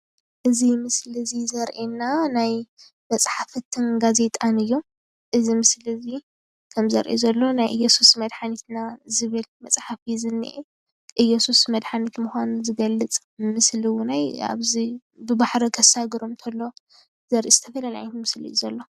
እዚ ምስሊ ዘሪኤና መፅሓፍን ጋዜጣን እዩ እዚ መፅሓፍ ዘሎ ናይ እየሱስ መድሓኒት ምኳኑ ዝገልፅ . ዘርኢ ምስሊ እዩ፡፡